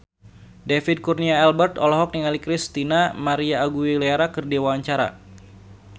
David Kurnia Albert olohok ningali Christina María Aguilera keur diwawancara